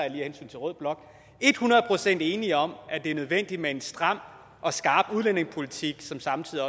af hensyn til rød blok et hundrede procent enige om at det er nødvendigt med en stram og skarp udlændingepolitik som samtidig